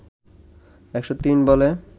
১০৩ বলে